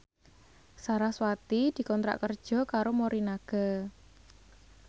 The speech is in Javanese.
sarasvati dikontrak kerja karo Morinaga